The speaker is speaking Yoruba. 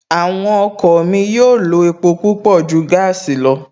Àwọn ọkọ̀ mi yóò lo epo púpọ̀ ju gaasi lọ